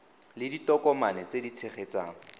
le ditokomane tse di tshegetsang